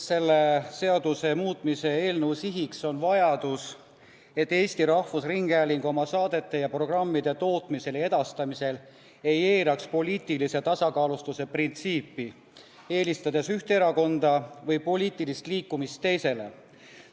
Selle seaduse muutmise eelnõu siht on vajadus, et Eesti Rahvusringhääling oma saadete ja programmide tootmisel ja edastamisel ei eiraks poliitilise tasakaalustatuse printsiipi, eelistades üht erakonda või poliitilist liikumist teisele.